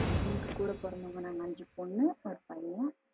எனக்கு கூட பிறந்தவுங்க நாங்க அஞ்சு பொண்ணு ஒரு பையன்.